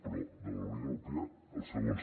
però de la unió europea els segons